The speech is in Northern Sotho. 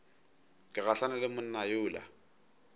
ke gahlane le monna yola